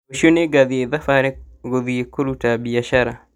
Rũciũ nĩngathiĩ thabarĩ gũthiĩ kũruta biacara